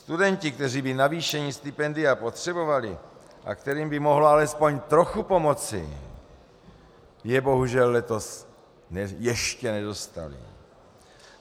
Studenti, kteří by navýšení stipendia potřebovali a kterým by mohlo alespoň trochu pomoci, je bohužel letos ještě nedostali.